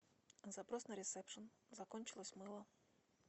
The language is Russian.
запрос на ресепшен закончилось мыло